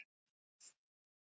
Það er best fyrir þig.